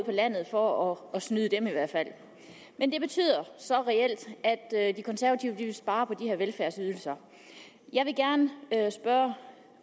landet for at snyde dem men det betyder så reelt de konservative vil spare på de her velfærdsydelser jeg vil gerne spørge